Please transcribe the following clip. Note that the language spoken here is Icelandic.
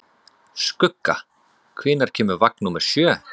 Skugga, hvenær kemur vagn númer sjö?